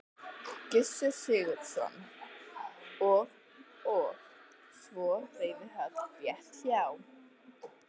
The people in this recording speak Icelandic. Gissur Sigurðsson: Og og svo reiðhöll rétt hjá?